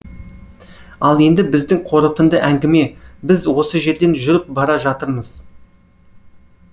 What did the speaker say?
ал енді біздің қорытынды әңгіме біз осы жерден жүріп бара жатырмыз